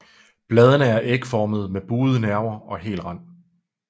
Bladene er ægformede med buede nerver og hel rand